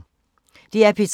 DR P3